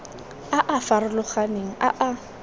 a a farologaneng a a